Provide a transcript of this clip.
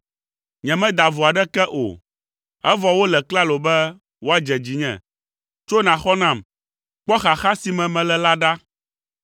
Nyemeda vo aɖeke o, evɔ wole klalo be woadze dzinye. Tso, nàxɔ nam; kpɔ xaxa si me mele la ɖa!